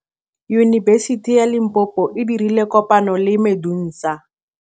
Yunibesiti ya Limpopo e dirile kopanyô le MEDUNSA.